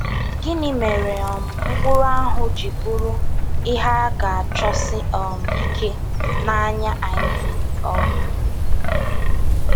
Gịnị mere um mkpụrụ ahụ ji bụrụ “ihe a ga-achọsi um ike” n’anya Iv? um